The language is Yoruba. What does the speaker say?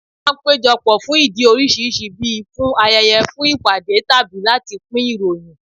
A máa ń péjọ pọ̀ fún ìdí oríṣiríṣi bí i, fún ayẹyẹ, fún ìpàdé tàbí láti pín ìròyìn